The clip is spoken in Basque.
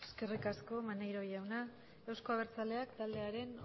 eskerrik asko maneiro jauna euzko abertzaleak taldearen